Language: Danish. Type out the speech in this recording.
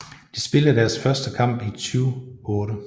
De spillede deres første landskamp i 2008